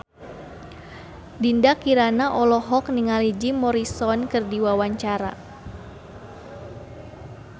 Dinda Kirana olohok ningali Jim Morrison keur diwawancara